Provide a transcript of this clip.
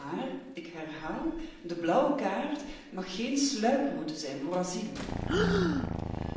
Maar, ik herhaal, de blauwe kaart mag geen sluiproute zijn voor asiel.